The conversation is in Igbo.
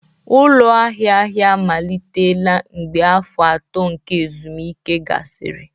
ụlọ ahịa ahịa amalitela mgbe afọ atọ nke ezumike gasịrị